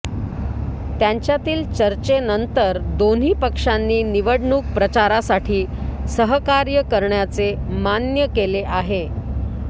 त्यांच्यातील चर्चेनंतर दोन्ही पक्षांनी निवडणूक प्रचारासाठी सहकार्य करण्याचे मान्य केले आहे